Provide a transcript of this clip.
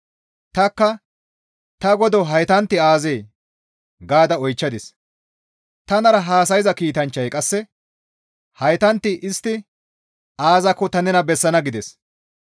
Tanikka, «Ta godo haytanti aazee?» gaada oychchadis; tanara haasayza kiitanchchazi qasse, «Haytanti istti aazakko tani nena bessana» gides.